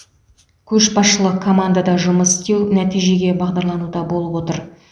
көшбасшылық командада жұмыс істеу нәтижеге бағдарлануда болып отыр